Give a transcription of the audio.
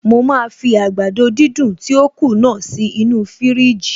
Mo máa fi àgbàdo dídùn tí ó kù náà sí inú fiírìjì